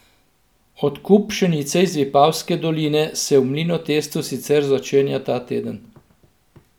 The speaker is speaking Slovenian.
Odkup pšenice iz Vipavske doline se v Mlinotestu sicer začenja ta teden.